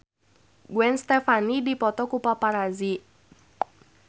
Gwen Stefani dipoto ku paparazi